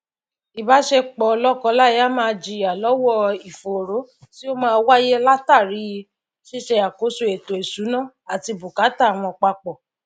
ìbásepò lókọ láya máá jiyà lówó ìfòró tí ó máá wáyé látàri síse àkóso ètò ìsúná àti bùkátà wọn papò